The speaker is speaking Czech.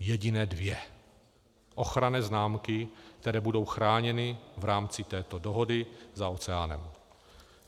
Jediné dvě ochranné známky, které budou chráněny v rámci této dohody za oceánem.